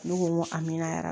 Ne ko n ko amina yara